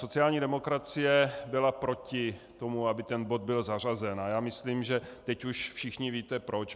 Sociální demokracie byla proti tomu, aby ten bod byl zařazen, a já myslím, že teď už všichni víte proč.